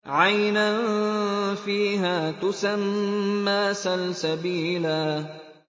عَيْنًا فِيهَا تُسَمَّىٰ سَلْسَبِيلًا